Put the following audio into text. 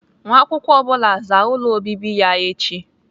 Nwa akwụkwọ ọ bụla zaa ụlọ obibi ya echi!